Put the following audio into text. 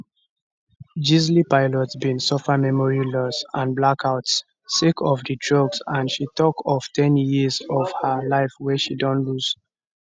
gisle pelicot bin suffer memory loss and blackouts sake of di drugs and she tok of ten years of her life wey she don lose